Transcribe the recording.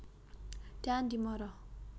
Daan Dimara